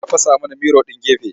Ya fasa mana miro ɗin gefe.